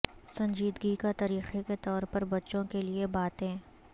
سنجیدگی کا طریقہ کے طور پر بچوں کے لئے باتیں